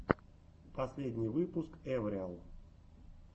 последний выпуск эвриал